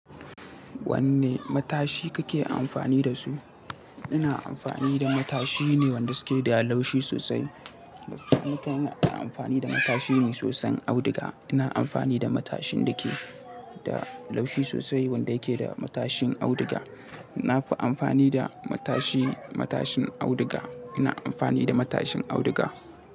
Wanne matashi kake amfani da su? Ina amfani da matashi ne wanda suke da laushi sosai. Wasu lokutan ina amfani da matashi ne soson auduga. Ina amfani da matashin da ke da laushi sosai wanda yake da matashin auduga. Na fi amfani da matashi matashin auduga. Ina amfani da matashin auduga.